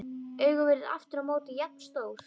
Augun virðast aftur á móti jafn stór.